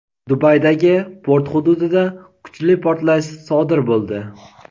Dubaydagi port hududida kuchli portlash sodir bo‘ldi.